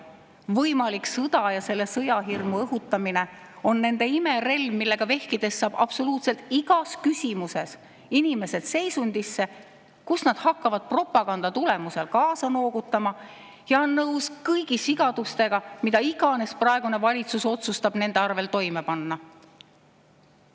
Võimalik sõda ja sõjahirmu õhutamine on nende imerelv, millega vehkides saab absoluutselt igas küsimuses inimesed seisundisse, kus nad hakkavad propaganda tulemusel kaasa noogutama ja on nõus kõigi sigadustega, mida iganes praegune valitsus otsustab nende arvel toime panna.